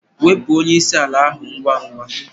Wepụ onye isi ala ahụ ngwa ngwa!